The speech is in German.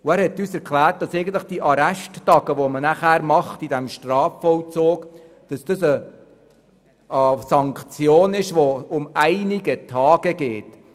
Er erklärte uns, dass es sich bei den Arresttagen im Strafvollzug um eine Sanktion handelt, die einige Tage dauert.